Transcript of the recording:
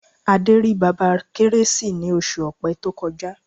Adé rí Bàbá Kérésì ní oṣù Ọ̀pẹ tó kọjá.